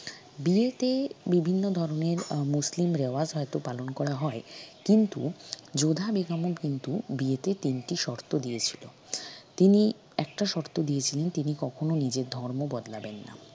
বিয়েতে বিভিন্ন ধরনের আহ মুসলিম রেওয়াজ হয়ত পালন করা হয় কিন্তু যোধা বেগমও কিন্তু বিয়েতে তিনটি শর্ত দিয়েছিল তিনি একটা শর্ত দিয়েছিল তিনি কখনও নিজের ধর্ম বদলাবেন না